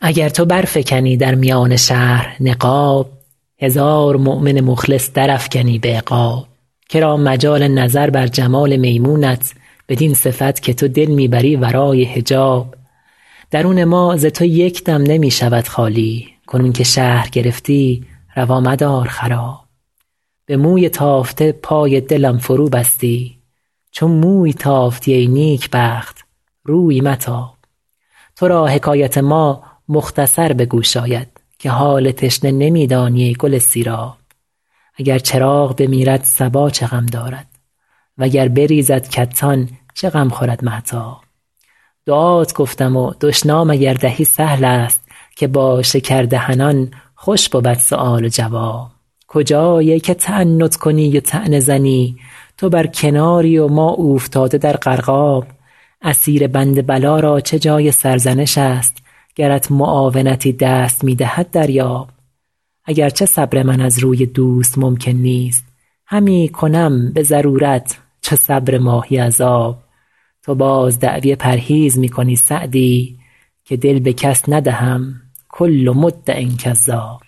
اگر تو برفکنی در میان شهر نقاب هزار مؤمن مخلص درافکنی به عقاب که را مجال نظر بر جمال میمونت بدین صفت که تو دل می بری ورای حجاب درون ما ز تو یک دم نمی شود خالی کنون که شهر گرفتی روا مدار خراب به موی تافته پای دلم فروبستی چو موی تافتی ای نیکبخت روی متاب تو را حکایت ما مختصر به گوش آید که حال تشنه نمی دانی ای گل سیراب اگر چراغ بمیرد صبا چه غم دارد و گر بریزد کتان چه غم خورد مهتاب دعات گفتم و دشنام اگر دهی سهل است که با شکردهنان خوش بود سؤال و جواب کجایی ای که تعنت کنی و طعنه زنی تو بر کناری و ما اوفتاده در غرقاب اسیر بند بلا را چه جای سرزنش است گرت معاونتی دست می دهد دریاب اگر چه صبر من از روی دوست ممکن نیست همی کنم به ضرورت چو صبر ماهی از آب تو باز دعوی پرهیز می کنی سعدی که دل به کس ندهم کل مدع کذاب